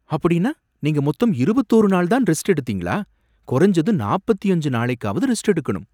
அப்படின்னா, நீங்க மொத்தம் இருபத்தோரு நாள் தான் ரெஸ்ட் எடுத்திருக்கீங்களா கொறஞ்சது நாப்பத்தியஞ்சு நாளைக்காவது ரெஸ்ட் எடுக்கணும்